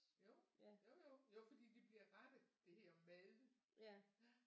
Jo jo jo jo fordi de bliver rettet det hedder mad